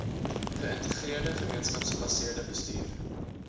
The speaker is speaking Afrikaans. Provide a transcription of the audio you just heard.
geïntegreerde gemeenskapsgebaseerde bestuur